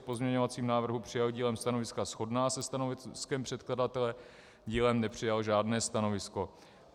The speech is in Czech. K pozměňovacím návrhům přijal dílem stanoviska shodná se stanoviskem předkladatele, dílem nepřijal žádné stanovisko.